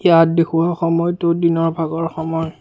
তাত দেখুওৱা সময়তো দিনৰ ভাগৰ সময়।